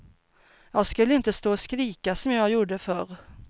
Jag skulle inte stå och skrika som jag gjorde förr.